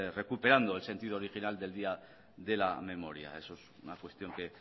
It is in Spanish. recuperando el sentido original del día de la memoria eso es una cuestión que